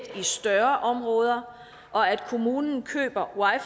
i større områder og at kommunen køber